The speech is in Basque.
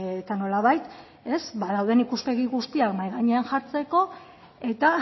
eta nolabait dauden ikuspegi guztiak mahai gainean jartzeko eta